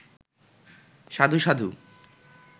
সাধু, সাধু